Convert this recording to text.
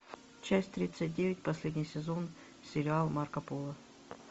часть тридцать девять последний сезон сериала марко поло